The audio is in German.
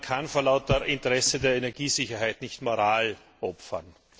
Man kann vor lauter Interesse an der Energiesicherheit nicht die Moral opfern.